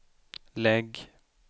lägg